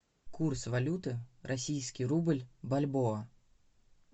курс валюты российский рубль бальбоа